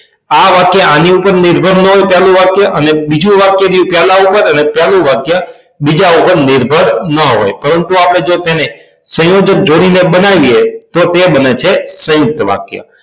આ વાક્ય આની ઉપર નિર્ભર નો હોય પેલું વાક્ય અને બીજું વાક્ય રહ્યું પેલા ઉપર અને પેલું વાક્ય બીજા ઉપર નિર્ભર નો હોય પરંતુ જો આપણે તેને સંયોજક જોડીને બનાવીએ તો તે બને છે સયુંકત વાક્ય